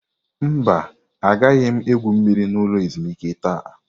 Mba, agaghị m egwu mmiri na ulo ezimuike taa.